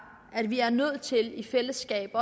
at vi er nødt til i fællesskab